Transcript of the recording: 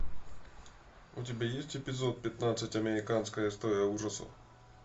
у тебя есть эпизод пятнадцать американская история ужасов